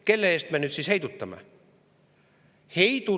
Keda me nüüd siis heidutame?